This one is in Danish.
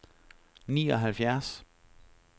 nioghalvfjerds